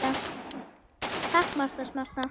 Takk Marta Smarta!